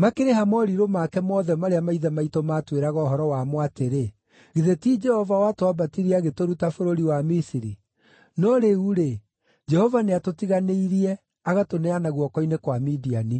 Makĩrĩ ha morirũ make mothe marĩa maithe maitũ maatwĩraga ũhoro wamo atĩrĩ, ‘Githĩ ti Jehova watwambatirie agĩtũruta bũrũri wa Misiri?’ No rĩu-rĩ, Jehova nĩatũtiganĩirie agatũneana guoko-inĩ kwa Midiani.”